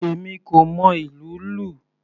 Èmi kò mọ ìlú lù.